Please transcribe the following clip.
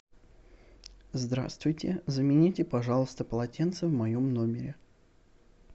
здравствуйте замените пожалуйста полотенце в моем номере